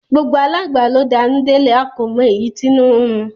Gbogbo alangba lo d'anu delẹ, a ko mo eyi t'inu nrun